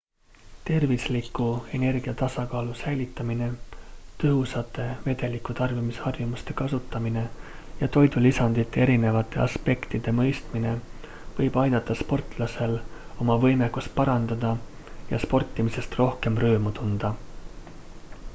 tervisliku energiatasakaalu säilitamine tõhusate vedelikutarbimisharjumuste kasutamine ja toidulisandite erinevate aspektide mõistmine võib aidata sportlasel oma võimekust parandada ja sportimisest rohkem rõõmu tunda